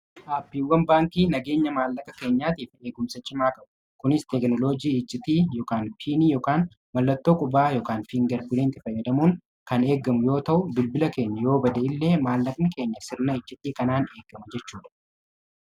Aappiiwwan baankii nageenya maallaqa keenyaatiif eegumsa cimaa qabu. ka'u kunis teeknoloojii iccitii ykn piinii ykn mallattoo qubaa yk fiingar buleenti fayyadamuun kan eegamu yoo ta'u bilbila keenya yoo bada qabu. illee maallaqni keenya sirna ijjitti kanaan eegamu jechuu dha.